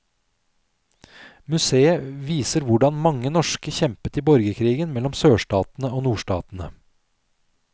Museet viser hvordan mange norske kjempet i borgerkrigen mellom sørstatene og nordstatene.